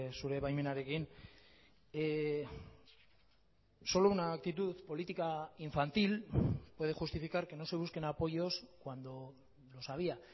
zure baimenarekin solo una actitud política infantil puede justificar que no se busquen apoyos cuando los había